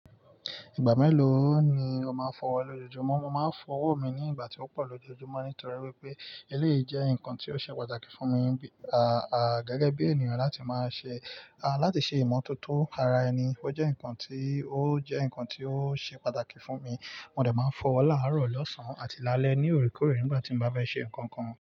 Ìgbà mélòó ni ó máa ń fọwọ́ lojoojumọ? Mo máa ń fọwọ́ mi ní ìgbà tí ó pọ̀ lójoojúmọ́, nítorí wípé eléyìí jẹ́ ǹkan tí ó ṣe pàtàkì fún mi, bí, à, à gẹ́gẹ́ bí ènìyàn láti máa ṣe, à láti ṣe ìmọ̀tótó ara ẹni. Ó jẹ́ ǹkan tí, ó jẹ́ ǹkan tí ó ṣe pàtàkì fún mi. Mo dẹ máa ń fọ ọwọ láàárọ̀, lọ́sàn-án àti lálẹ́ ní oorekoore nígbà tí n bá fẹ́ ṣe nǹkankan.